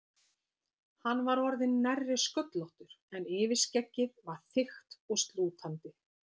Hann var orðinn nærri sköllóttur en yfirskeggið var þykkt og slútandi.